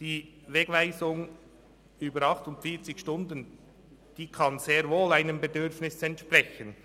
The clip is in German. Die Wegweisung über 48 Stunden kann sehr wohl einem Bedürfnis entsprechen.